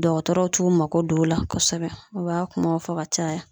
Dɔgɔtɔrɔw t'u mako don o la kosɛbɛ o b'a kumaw fɔ ka caya